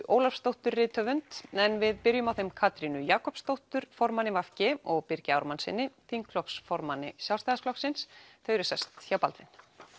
Ólafsdóttur rithöfund en við byrjum á þeim Katrínu Jakobsdóttur formanni v g og Birgi Ármannssyni þingflokksformanni Sjálfstæðisflokksins þau eru sest hjá Baldvin